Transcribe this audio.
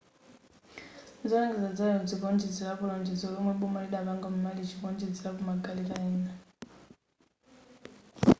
zolengeza za lero zikuonjezerapo lonjezo lomwe boma lidapanga mu malichi kuonjezerapo magaleta ena